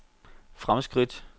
fremskridt